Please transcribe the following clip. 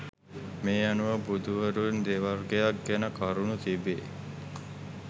මේ අනුව බුදුවරුන් දෙවර්ගයක් ගැන කරුණු තිබේ